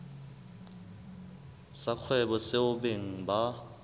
sa kgwebo seo beng ba